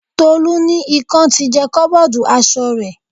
Tolu ní ikan ti jẹ koboodu aṣọ rẹ̀.